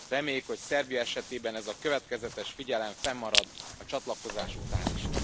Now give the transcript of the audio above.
Reméljük, hogy Szerbia esetében ez a következetes figyelem fennmarad a csatlakozás után is.